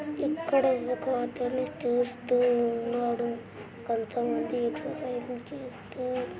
ఇక్కడ ఒక అతను చూస్తూ ఉన్నాడు కొంత మంది ఎక్సర్సైజ్లు చేస్తూ--